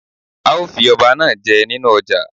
A ó fi ọba náá je nínú ọjà